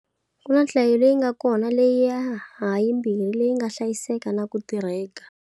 Ku na yo hlaya leyi nga kona leyi ha yimbirhi yi nga hlayiseka na ku tirheka.